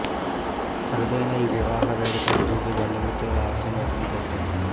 అరుదైన ఈ వివాహ వేడుకను చూసి బంధుమిత్రులు హర్షం వ్యక్తం చేశారు